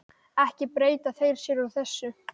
Ekki breyta þeir sér úr þessu.